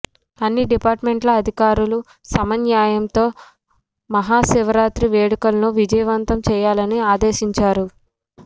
అన్ని డిపార్ట్మెంట్ల అధికారులు సమన్వయంతో మహా శివరాత్రి వేడుకలను విజయవంతం చేయాలని ఆదేశించారు